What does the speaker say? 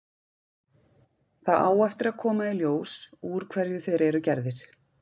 Það á eftir að koma í ljós úr hverju þeir eru gerðir.